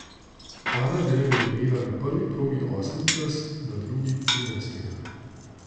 Ana Drev je imela na prvi progi osmi čas, na drugi trinajstega.